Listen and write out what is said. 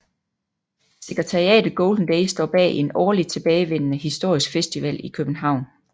Sekretariatet Golden Days står bag en årligt tilbagevendende historisk festival i København